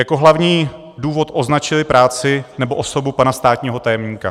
Jako hlavní důvod označili práci, nebo osobu pana státního tajemníka.